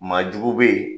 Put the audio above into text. Maa jugu bɛ yen